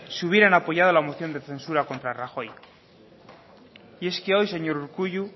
si hubieran apoyado la moción de censura contra rajoy y es que hoy señor urkullu